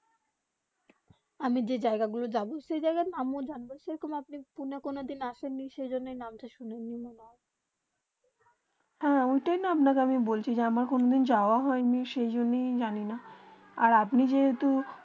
আমি যে জায়গা গুলু যাবো সেই জায়গা আমিও জানবো সেই রকম আপনি পুনে কোনো দিন আসিনি সেই জন্যে আপনি নাম তা শুনে নি হেঁ ওটাই আমি আপনা কে বলছি যে আমার কোনো দিন যাওবা হয়ে নি সেই জন্য জানি না আর আপনি যে টু